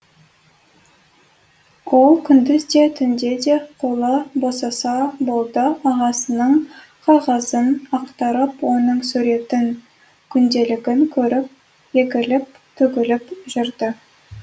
ол күндіз де түнде де қолы босаса болды ағасының қағазын ақтарып оның суретін күнделігін көріп егіліп төгіліп жүрді